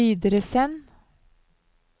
videresend